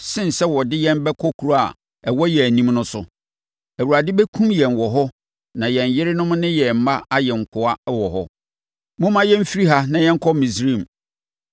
sen sɛ wɔde yɛn bɛkɔ kuro a ɛwɔ yɛn anim no so. Awurade bɛkum yɛn wɔ hɔ na yɛn yerenom ne yɛn mma ayɛ nkoa wɔ hɔ. Momma yɛmfiri ha na yɛnkɔ Misraim!”